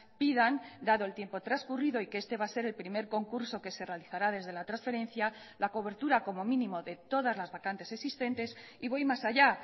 pidan dado el tiempo transcurrido y que este va a ser el primer concurso que se realizará desde la transferencia la cobertura como mínimo de todas las vacantes existentes y voy más allá